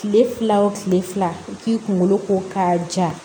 Kile fila o kile fila i k'i kunkolo ko k'a ja